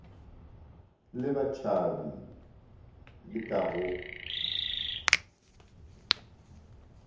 le batšhabi le ka go